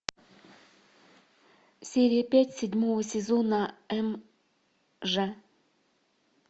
серия пять седьмого сезона м ж